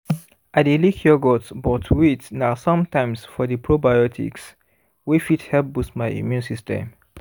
i dey lick yogurt but wait na sometimes for the probiotics wey fit help boost my immune system